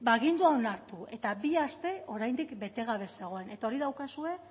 agindua onartu eta bi aste oraindik bete gabe zegoen eta hori daukazue